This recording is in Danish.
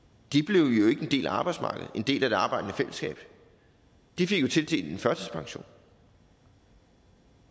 ikke blev en del af arbejdsmarkedet en del af det arbejdende fællesskab de fik jo tildelt en førtidspension